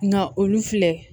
Nka olu filɛ